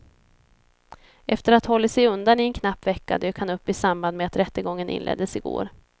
Efter att ha hållit sig undan i en knapp vecka dök han upp i samband med att rättegången inleddes i går.